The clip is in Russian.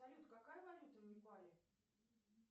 салют какая валюта в непале